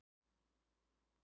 Mun ég taka í höndina á honum?